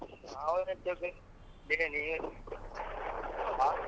ಹೌದ್ ಅಂತೆಳ್ ಬಿಡ್ ನೀನ್ಯೆನ್ ?